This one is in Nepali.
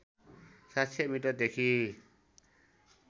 ७०० मिटरदेखि